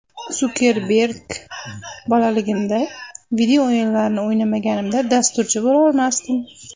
Sukerberg: Bolaligimda video o‘yinlarni o‘ynamaganimda, dasturchi bo‘lolmasdim.